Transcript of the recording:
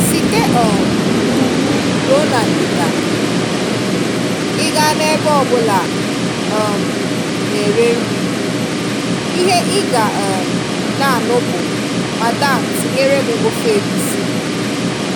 Site um n'ugwu ruo na ndịda, ị gaa n'ebe ọbula a um na-ere nri, ịhe ị ga um na-anụ bụ 'Madam' tinyere m ofe egwusi